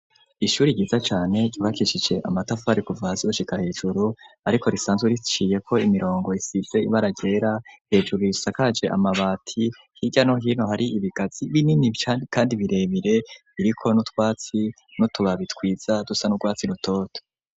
Ishuri ryiza cane ribakisije amatafari kuva zushika hejuru ariko risanze riciye ko imirongo isize ibaragera hejuru risakaje amabati h'iryano hino hari ibigazi binini kandi birebire iriko nutwatsi no tubabitwiza dusa n'urwatsi rutoto.